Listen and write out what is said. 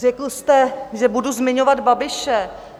Řekl jste, že budu zmiňovat Babiše.